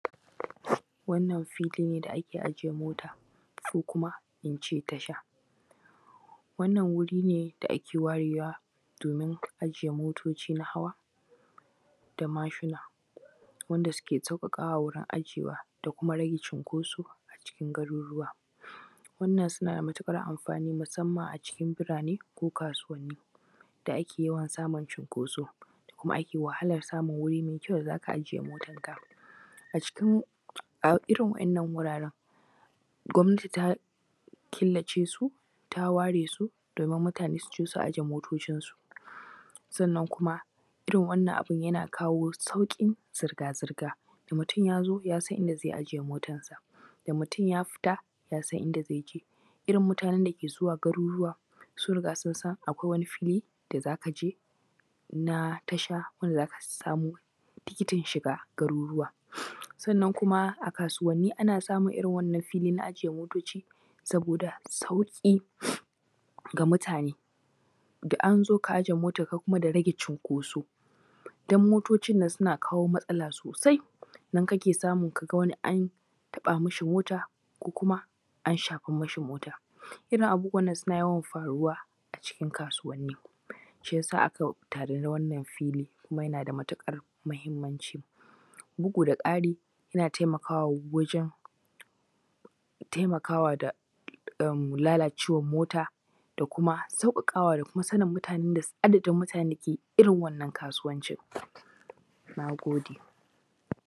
Wannan fili ne da ake ajiye mota, ko kuma in ce tasha. Wannan wuri ne da ake warewa domin ajiye motoci na hawa, da mashina wanda suke ssauƙaƙawa wurin ajiyewa da kuma rage cinko a cikin garuruwa. Wannan suna da matuƙar amfani musamman a cikin birane ko kasuwanni, da ake yawan samun cinkoso kuma ake wahalan samun wuri mai kyau da ake da z aka ajiye matanka. A cikin a irin waɗannan wurwren gwamnati ta killace su, ta ware su domin mutane su zo su ajiye motocinsu. Sannan kuma irin wannan abun yana kawo sauƙin zirga-zirga, da mutum ya zo ya san inda zai ajiye motarsa, da mutum ya fita yasan inda zai je. Irin mutanen da ke zuwa garuruwa, sun san akwai wani fili da z aka je na tasha in da z aka samu tikitin shiga garuruwa. Sannan kuma a kasuwanni ana samun, irin wannan fili na ajiye motoci saboda da sauƙi ga mutane, da an zo ka ajiye motanka, da rage cinkoso dan motocin nan suna kawo matsala sosai, nan kake samu ka ga wani an taɓa masa mota ko kuma an shafa mashi mota.. Irin waɗannan abubuwan a cikin kasuwanni. shi ya sa aka tanadi wannan fili, kuma yana da matuƙar muhimmamnci. Bugu-da-ƙari yana taimakawa wajen, taimakwa da am lalacewan mota, da kuma sauƙaƙawa da kuma sanin mutane sanin adadin mutanen da ke irin wannan kasuwancin. Na gode.